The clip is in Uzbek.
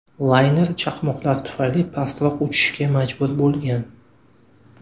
Layner chaqmoqlar tufayli pastroq uchishga majbur bo‘lgan.